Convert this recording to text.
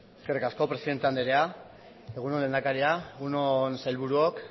eskerrik asko presidente anderea egun on lehendakaria egun on sailburuok